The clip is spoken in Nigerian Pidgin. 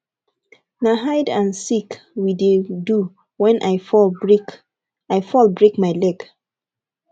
na hide and seek we dey do wen i fall break i fall break my leg